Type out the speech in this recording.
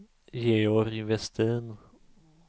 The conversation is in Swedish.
Georg Westin